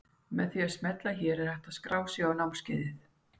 Með því að smella hér er hægt að skrá sig á námskeiðið.